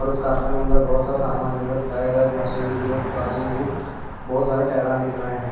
और इस कारण के अंदर बहुत सामान दिख रहा टायर एक मशीन दिख रही है और बाजू में भी बहुत सारे टायर दिख रहे हैं।